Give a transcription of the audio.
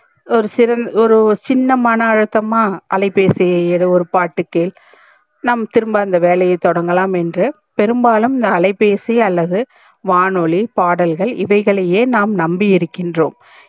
ஒரு ஒரு சின்ன மண அழுத்தமா அலைபேசியை எடு ஒரு பாட்டு கேள் நாம் திரும்ப அந்த வேலைய தொடங்கலாம் என்று பெரும்பாலும் இந்த அலைபேசி அல்லது வானொலி பாடல்கள் இவைகளையே நாம் நம்பி இருகின்றோம்